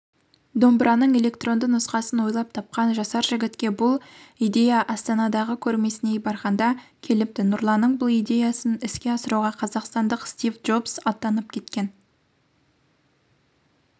домбыраның электронды нұсқасын ойлап тапқан жасар жігітке бұл идеяастанадағы көрмесіне барғанда келіпті нұрланның бұл идеясын іске асыруға қазақстандық стив джобс атанып кеткен